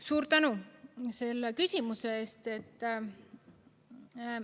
Suur tänu selle küsimuse eest!